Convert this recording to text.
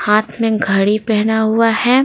हाथ में घड़ी पहना हुआ है।